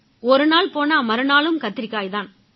ஒருநாள் போனா மறுநாளும் கத்திரிக்காய் தான்